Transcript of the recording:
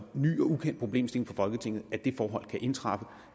en ny og ukendt problemstilling for folketinget at det forhold kan indtræffe og